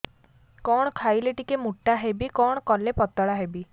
କଣ ଖାଇଲେ ଟିକେ ମୁଟା ହେବି କଣ କଲେ ପତଳା ହେବି